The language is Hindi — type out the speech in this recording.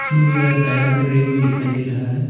इसमें जो है टायर का रिंग भी दिखाई दे रहा है।